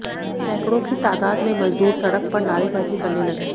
सैकड़ों की तादाद में मजदूर सड़क पर नारेबाजी करने लगे